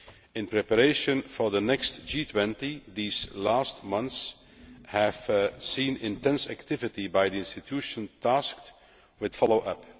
In preparation for the next G20, these last months have seen intense activity by the institution tasked with following up.